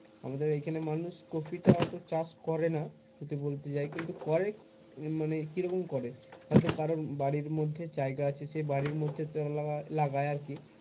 আমাদের এখানে মানুষ কপি টা অত চাষ করেনা যদি বলতে যাই কিন্তু করে মানে কি রকম করে হয় তো কারোর বাড়ির মধ্যে জায়গা আছে সেই বাড়ির মধ্যে তো লাগায় আর কি